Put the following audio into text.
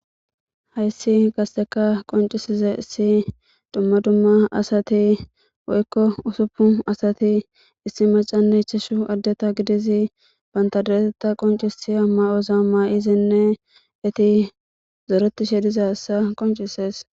Hayssi gasteka qoncisize issi dumma dumma asati woykko usuppu asati issi macane chashu addeta gidizi bantadoeteta qoncisi a ma'oza maa'izinne eti zooretishe dizasa qoncisees.